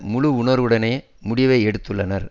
முழு உணர்வுடனேயே முடிவை எடுத்துள்ளனர்